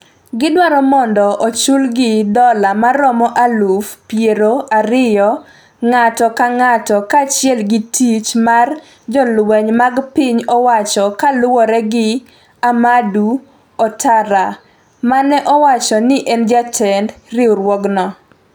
Gidwaro mondo ochulgi dola maromo aluf piero ariyo ng'ato ka ng'ato kaachiel gi tich mar jolweny mag piny owacho kaluwore gi Amadou Ouattara, mane owacho ni en jatend riwruogno.